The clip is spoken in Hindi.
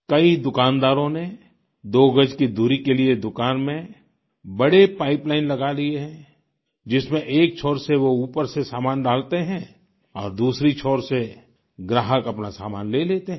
कई दुकानदारों ने दो गज की दूरी के लिए दुकान में बड़े पाइपलाइन लगा लिए हैं जिसमें एक छोर से वो ऊपर से सामान डालते हैं और दूसरी छोर से ग्राहक अपना सामान ले लेते हैं